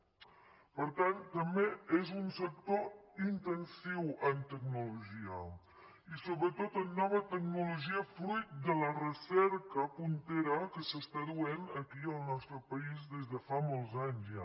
per tant també és un sector intensiu en tecnologia i sobretot en nova tecnologia fruit de la recerca puntera que es du a terme aquí al nostre país des de fa molts anys ja